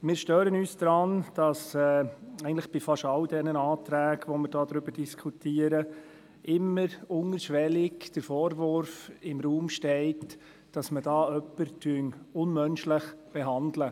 Wir stören uns daran, dass eigentlich bei fast all den Anträgen, über die wir hier diskutieren, immer unterschwellig der Vorwurf im Raum steht, dass man jemanden unmenschlich behandle.